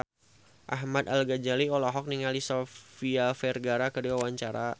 Ahmad Al-Ghazali olohok ningali Sofia Vergara keur diwawancara